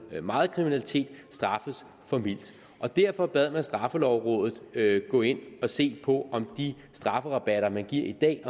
meget kriminalitet straffes for mildt derfor bad man straffelovrådet gå ind og se på om de strafferabatter man giver i dag